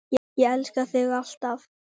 Ég elska þig. alltaf.